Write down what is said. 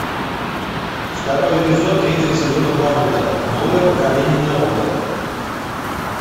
второй эпизод третьего сезона боруто новое поколение наруто